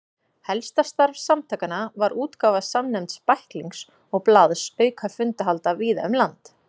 Helsta starf samtakanna var útgáfa samnefnds bæklings og blaðs auka fundahalda víða um land.